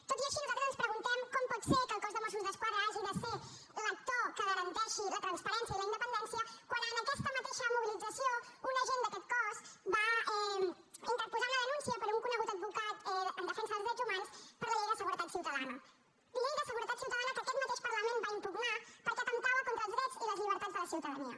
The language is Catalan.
tot i així nosaltres ens preguntem com pot ser que el cos de mossos d’esquadra hagi de ser l’actor que garanteixi la transparència i la independència quan en aquesta mateixa mobilització un agent d’aquest cos va interposar una denúncia per un conegut advocat en defensa dels drets humans per la llei de seguretat ciutadana llei de seguretat ciutadana que aquest mateix parlament va impugnar perquè atemptava contra els drets i les llibertats de la ciutadania